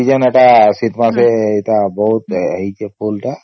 season ଏଟା ଶୀତ ମାସେ ବହୁତ ହେଇଛେ ଏଟା ଫୁଲ ଟା